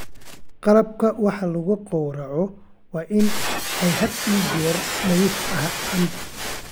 Qalabka wax lagu gawraco waa in had iyo jeer nadiif ahaadaan.